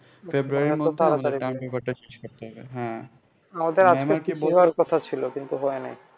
হ্যাঁ February এর মধ্যে